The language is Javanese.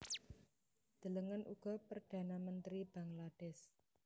Delengen uga Perdhana Mentri Bangladesh